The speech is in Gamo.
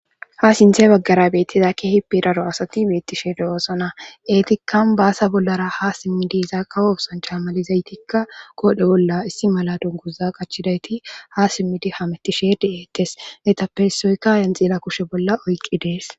ha sinthe baggara beettizakki hippidaro asati beettisheede oosona eetikan baasa bollara ha simmidi izaakka ofsancha malizaytikka koodhe bolla issi mala dunguza qachchidayti ha simmidi hametisheede eettes etappesoyka yenxila kushe bolla oyqqi dees